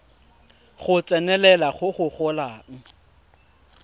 go tsenelela go go golang